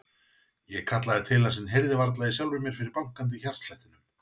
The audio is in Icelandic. Ég kallaði til hans en heyrði varla í sjálfri mér fyrir bankandi hjartslættinum.